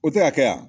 O tɛ ka kɛ yan